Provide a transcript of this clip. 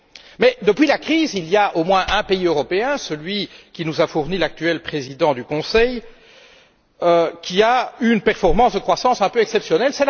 Mais depuis la crise, il y a au moins un pays européen, celui qui nous a fourni l'actuel président du Conseil européen, qui a une performance de croissance un peu exceptionnelle.